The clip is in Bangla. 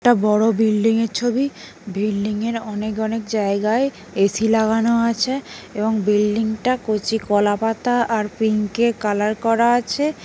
একটা বড় বিল্ডিং -এর ছবি বিল্ডিং -এর অনেক অনেক জায়গায় এ.সি. লাগানো আছে এবং বিল্ডিং -টা কচি কলাপাতা আর পিংক -এ কালার করা আছে --